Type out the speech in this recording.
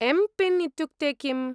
M PIN इत्युक्ते किम्?